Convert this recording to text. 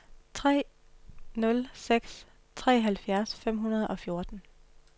tre nul seks tre halvfjerds fem hundrede og fjorten